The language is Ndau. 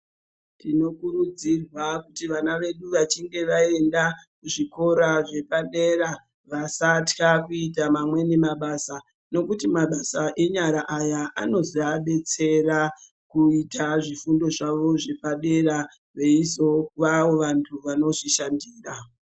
Tinokurudzirwa kuti vana vedu vachinge vaenda kuzvikora zvepadera vasatya kuita amweni mabasa, nekuti mabasa enyara aya anozoabetsera kuita zvifundo zvavo zvepadera veizovawo vamweni vantu vanozvishandira.